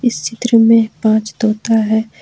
इस चित्र में पांच तोता है।